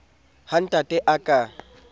ha ntate a ka a